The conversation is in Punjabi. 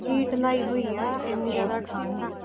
Heat ਲਾਈ ਹੋਈ ਹੈ ਇੰਨੀ ਜ਼ਿਆਦਾ ਠੰਢ ਆ।